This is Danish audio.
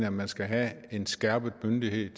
at man skal have en skærpet myndighed